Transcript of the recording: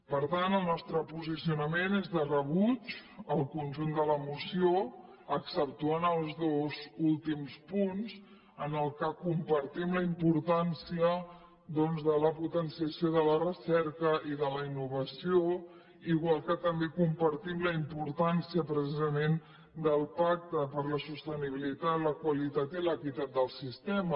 per tant el nostre posicionament és de rebuig al conjunt de la moció exceptuant els dos últims punts en què compartim la importància doncs de la potenciació de la recerca i de la innovació igual que també compartim la importància precisament del pacte per a la sostenibilitat la qualitat i l’equitat del sistema